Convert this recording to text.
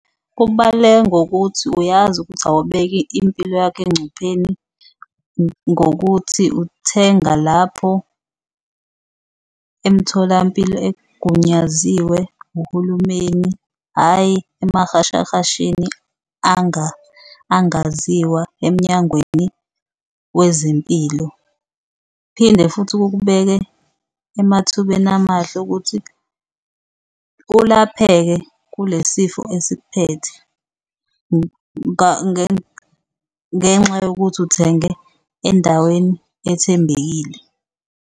Kubaluleke ngokuthi uyazi ukuthi awubeki impilo yakho engcupheni ngokuthi uthenga lapho emtholampilo egunyaziwe uhulumeni, hhayi amahashahasheni angaziwa eMnyangweni wezeMpilo. Phinde futhi kukubeke emathubeni amahle okuthi ulapheke kule sifo esikuphethe, ngenxa yokuthi uthenge endaweni ethembekile.